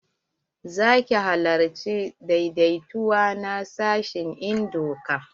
Za ki halarci daidaituwa na sashin en doka?